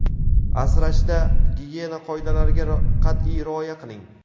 asrashda gigiyena qoidalariga qat’iy rioya qiling!.